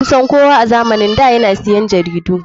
Kusan kowa a zamanin da yana siyan jaridu.